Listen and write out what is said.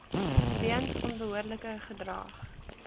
weens onbehoorlike gedrag